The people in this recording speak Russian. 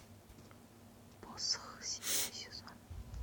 посох седьмой сезон